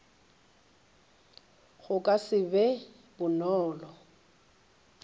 go ka se be bonolo